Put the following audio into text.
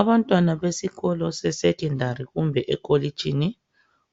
Abantwana baseskolweni se secondary kumbe emakolitshini